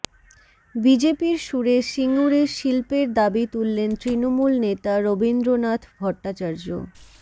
বিজেপির সুরে সিঙুরে শিল্পের দাবি তুললেন তৃণমূল নেতা রবীন্দ্রনাথ ভট্টাচার্য